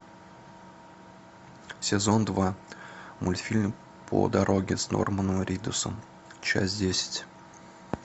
сезон два мультфильм по дороге с норманом ридусом часть десять